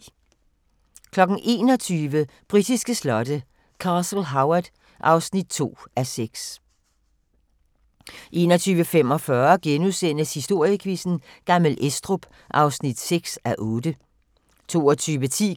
21:00: Britiske slotte: Castle Howard (2:6) 21:45: Historiequizzen: Gammel Estrup (6:8)* 22:10: